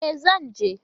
E, zan je.